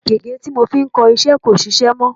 Gègé tí mo fi ń kọ iṣẹ́ kò sisẹ́ mọ́.